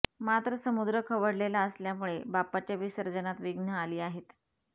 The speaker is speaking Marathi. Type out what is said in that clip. मात्र समुद्र खवळलेला असल्यामुळे बाप्पाच्या विसर्जनात विघ्न आली आहेत